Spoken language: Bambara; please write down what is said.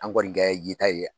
An kɔni kɛ ye ta ye